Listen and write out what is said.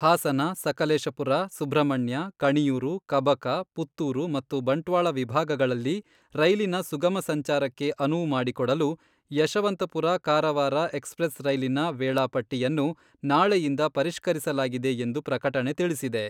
ಹಾಸನ, ಸಕಲೇಶಪುರ, ಸುಬ್ರಹ್ಮಣ್ಯ,,ಕಣಿಯೂರು, ಕಬಕ, ಪುತ್ತೂರು ಮತ್ತು ಬಂಟ್ವಾಳ ವಿಭಾಗಗಳಲ್ಲಿ ರೈಲಿನ ಸುಗಮ ಸಂಚಾರಕ್ಕೆ ಅನುವು ಮಾಡಿಕೊಡಲು ಯಶವಂತಪುರ ಕಾರವಾರ ಎಕ್ಸ್ಪ್ರೆಸ್ ರೈಲಿನ ವೇಳಾಪಟ್ಟಿಯನ್ನು ನಾಳೆಯಿಂದ ಪರಿಷ್ಕರಿಸಲಾಗಿದೆ ಎಂದು ಪ್ರಕಟಣೆ ತಿಳಿಸಿದೆ.